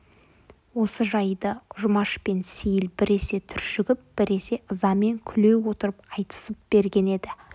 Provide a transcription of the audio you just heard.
осы жайды жұмаш пен сейіл біресе түршігіп біресе ызамен күле отырып айтысып берген еді